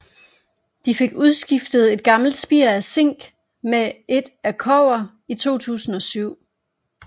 De fik udskiftet et gammelt spir af zink med et af kobber i 2007